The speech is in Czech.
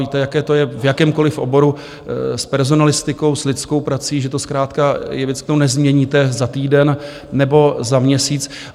Víte, jaké to je v jakémkoliv oboru s personalistikou, s lidskou prací, že to zkrátka je věc, kterou nezměníte za týden nebo za měsíc.